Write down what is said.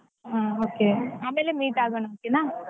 ಹಾ okay ಆಮೇಲೆ meet ಆಗೋಣ okay ನಾ.